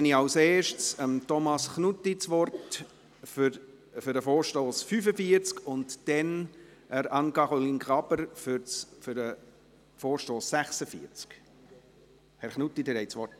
Dann gebe ich zuerst Thomas Knutti das Wort zum Traktandum 45 und danach Anne-Caroline Graber zum Traktandum 46. Herr Knutti, Sie haben das Wort.